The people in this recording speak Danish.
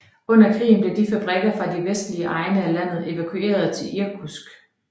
Under krigen blev fabrikker fra de vestlige egne af landet evakueret til Irkutsk